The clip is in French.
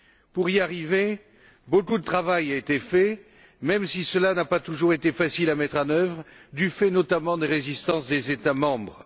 Pour y arriver, beaucoup de travail a été fait, même si cela n'a pas toujours été facile à mettre en œuvre, du fait, notamment, des résistances des États membres.